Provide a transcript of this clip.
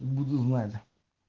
буду знать